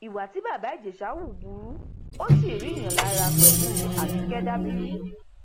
ìwà tí bàbá ìjẹsà hù burú ó sì ríiyàn lára pẹlúabike dabiri